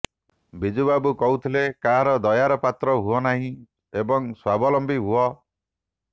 ବିଜୁବାବୁ କହୁଥିଲେ କାହାର ଦୟାର ପାତ୍ର ହୁଅନାହିଁ ଏବଂ ସ୍ୱାବଲମ୍ବୀ ହୁଅ